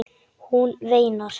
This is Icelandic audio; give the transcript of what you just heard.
Hún veinar.